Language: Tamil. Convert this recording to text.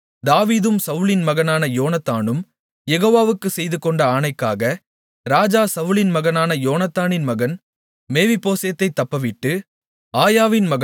ஆனாலும் தாவீதும் சவுலின் மகனான யோனத்தானும் யெகோவாவுக்கு செய்துகொண்ட ஆணைக்காக ராஜா சவுலின் மகனான யோனத்தானின் மகன் மேவிபோசேத்தைத் தப்பவிட்டு